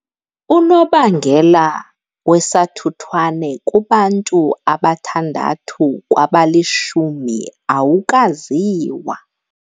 Unobangela wesathuthwane kubantu abathandathu kwabalishumi awukaziwa.